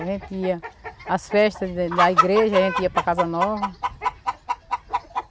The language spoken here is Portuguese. A gente ia às festas da da igreja, a gente ia para Casa Nova.